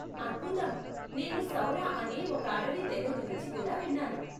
అద్భుతం! నేను సౌర అనే ఒక అడవి తెగ గురించి కూడా విన్నాను.